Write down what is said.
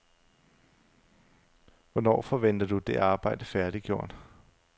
Hvornår forventer du det arbejde færdiggjort?